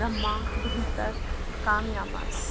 ब्रह्मा दुहितर कामयामास